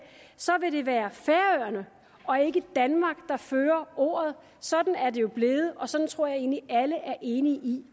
være færøerne og ikke danmark der fører ordet sådan er det jo blevet og sådan tror jeg egentlig at alle er enige i